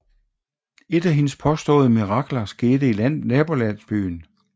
Et af hendes påståede mirakler skete i nabolandsbyen